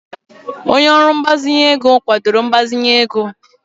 Onye ọrụ mgbazinye ego kwadoro mgbazinye ego